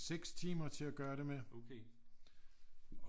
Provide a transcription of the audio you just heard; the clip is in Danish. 6 timer til at gøre det med